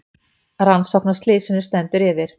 Rannsókn á slysinu stendur yfir